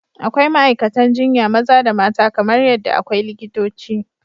Akwai ma’aikatan jinya maza da mata kamar yadda akwai likitoci.